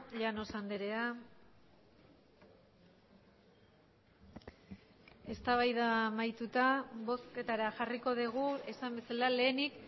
llanos andrea eztabaida amaituta bozketara jarriko dugu esan bezala lehenik